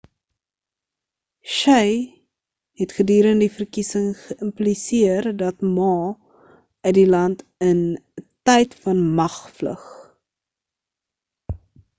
hsieh het gedurende die verkiesing geïmpliseer dat ma uit die land in 'n tyd van mag vlug